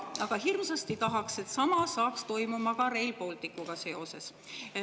Aga hirmsasti tahaks, et sama toimuks ka Rail Balticuga seoses.